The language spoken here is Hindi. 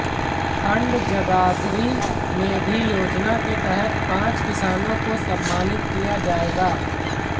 खंड जगाधरी में भी योजना के तहत पांच किसानों को सम्मानित किया जाएगा